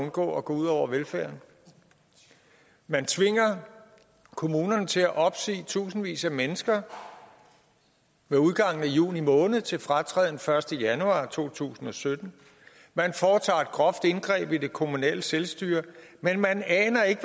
undgå at gå ud over velfærden man tvinger kommunerne til at opsige tusindvis af mennesker med udgangen af juni måned til fratræden den første januar to tusind og sytten man foretager et groft indgreb i det kommunale selvstyre men man aner ikke